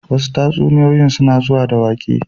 Wasu tatsuniyoyin suna zuwa da waƙe